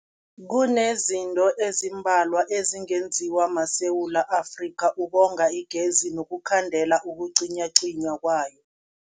Kunezinto ezimbalwa ezingenziwa maSewula Afrika ukonga igezi nokukhandela ukucinywacinywa kwayo.